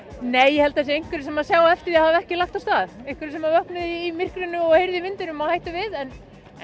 nei ég held að það séu einhverjir sem sjá eftir því að hafa ekki lagt af stað einhverjir sem vöknuðu í myrkrinu og heyrðu í vindinum og hættu við en